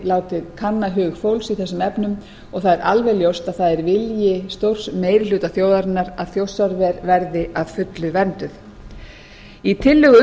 látið kanna hug fólks í þessum efnum og það er alveg ljóst að það er vilji stórs meiri hluta þjóðarinnar að þjórsárver verði að fullu vernduð í tillögu